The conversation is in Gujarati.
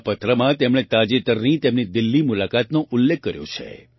આ પત્રમાં તેમણે તાજેતરની તેમની દિલ્લી મુલાકાતનો ઉલ્લેખ કર્યો છે